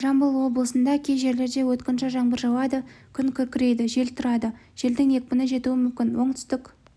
жамбыл облысында кей жерлерде өткінші жаңбыр жауады күн күркірейді жел тұрады желдің екпіні жетуі мүмкін оңтүстік